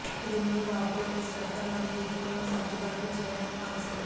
ఇది మీ వార్డ్రోబ్ శ్రద్ద మరియు ఇది కొన్ని సర్దుబాట్లు చేయడానికి అవసరం